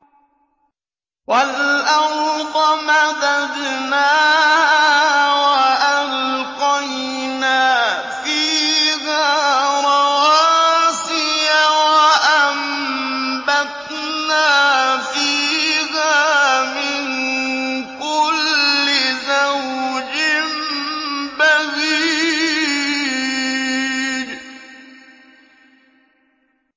وَالْأَرْضَ مَدَدْنَاهَا وَأَلْقَيْنَا فِيهَا رَوَاسِيَ وَأَنبَتْنَا فِيهَا مِن كُلِّ زَوْجٍ بَهِيجٍ